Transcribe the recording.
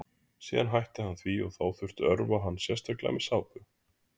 síðan hætti hann því og þá þurfti að örva hann sérstaklega með sápu